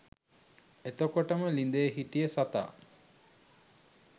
එතකොටම ළිඳේ හිටිය සතා